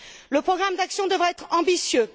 Le programme d'action devra être ambitieux.